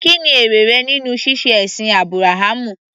Kí ni èrè rẹ nínú ṣíṣe ẹ̀sìn Ábúráhámù?